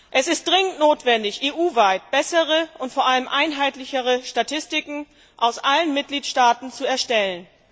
Es ist dringend notwendig, EU weit bessere und vor allem einheitlichere Statistiken aus allen Mitgliedstaaten zu erstellen.